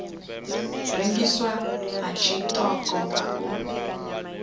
rengiswa ha tshiṱoko nga u